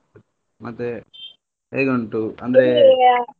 ಮತ್ತೆ ಹೇಗುಂಟು ?